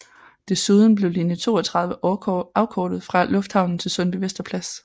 Desuden blev linje 32 afkortet fra Lufthavnen til Sundbyvester Plads